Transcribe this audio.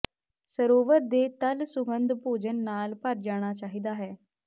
ਸਰੋਵਰ ਦੇ ਤਲ ਸੁਗੰਧ ਭੋਜਨ ਨਾਲ ਭਰ ਜਾਣਾ ਚਾਹੀਦਾ ਹੈ